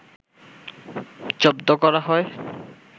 জব্ধ করা হয়